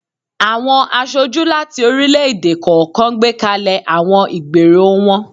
Awọn aṣoju lati orilẹ-ede kọọkan gbekalẹ awọn igbero wọn.